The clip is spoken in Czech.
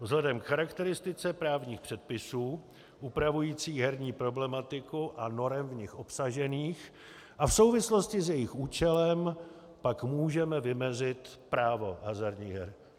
Vzhledem k charakteristice právních předpisů upravujících herní problematiku a norem v ní obsažených a v souvislosti s jejich účelem pak můžeme vymezit právo hazardních her.